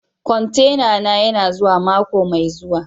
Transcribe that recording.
Kwantena na yana zuwa mako mai zuwa.